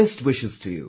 Best wishes to you